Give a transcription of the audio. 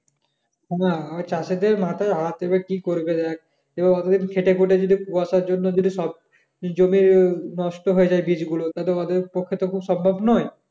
না চাষীদের মাথায় হাত দেবে কি করবে দেখ এভাবে খেটে খুটে যদি কুয়াশার জন্য যদি সব জমি নষ্ট হয়ে যায় বিচ গুলো তা তো ওদের পক্ষে তো খুব সম্ভব নয়